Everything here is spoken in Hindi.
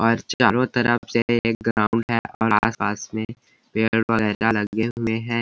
और चारो तरफ से ग्राउंड है और आस-पास में पेड़-पौधे लगे हुए हैं।